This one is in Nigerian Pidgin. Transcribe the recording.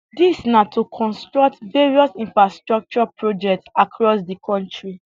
dis na to construct various infrastructure projects across di kontri